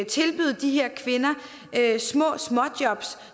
tilbyde de her kvinder småjobs